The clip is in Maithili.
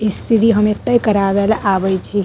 स्त्री हम एते करावेले आवे छी।